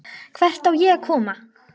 Hvert á ég að koma?